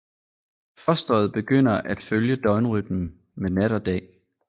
Fosteret begynder at følge døgnrytmen med nat og dag